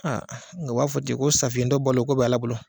nga o b'a fɔ ten ko safiyɛntɔ balo, ko b'Ala bolo.